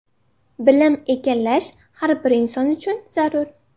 Bilim egallash har bir inson uchun zarur.